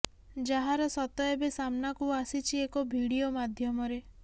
ଯାହାର ସତ ଏବେ ସାମ୍ନାକୁ ଆସିଛି ଏକ ଭିଡିଓ ମାଧ୍ୟମରେ